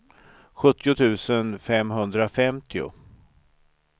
sjuttio tusen femhundrafemtio